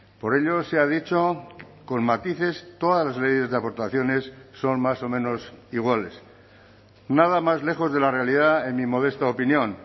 por ello se ha dicho con matices todas las leyes de aportaciones son más o menos iguales nada más lejos de la realidad en mi modesta opinión